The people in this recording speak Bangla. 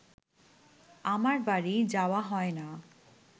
আমার বাড়ী যাওয়া হয় না